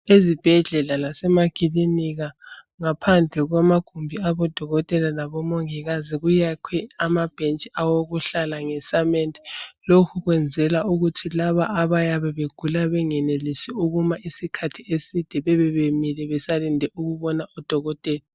Ezibhedlela lasemakilinika ngaphandle kwamagumbi abodokotela labomongikazi kuyakhwe amabhentshi awokuhlala ngesamende. Lokhu kwenzelwa ukuthi laba abayabe begula bengenelisi ukuma isikhathi eside, bebebemile besalinde ukubona udokotela.